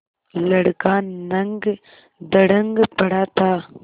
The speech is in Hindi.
लड़का नंगधड़ंग पड़ा था